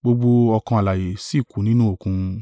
gbogbo ọkàn alààyè sì kú nínú Òkun.